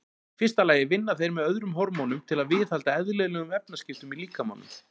Í fyrsta lagi vinna þeir með öðrum hormónum til að viðhalda eðlilegum efnaskiptum í líkamanum.